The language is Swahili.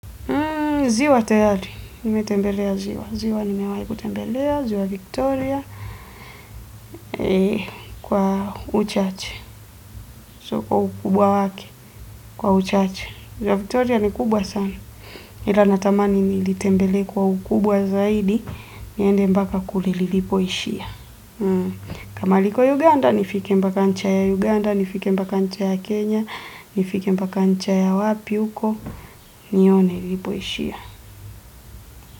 Ziwa tayari. Nimetembelea ziwa. Ziwa nimewahi kutembelea. Ziwa Victoria kwa uchache. Sio kwa ukubwa wake. Kwa uchache. Ziwa Victoria ni kubwa sana. Ila natamani nilitembelee kwa ukubwa zaidi. Niende mpaka kule lilipoishia kama liko Uganda nifike mbaka ncha ya Uganda, nifike mbaka ncha ya Kenya, nifike mbaka ncha ya wapi huko. Nione lilipoishia.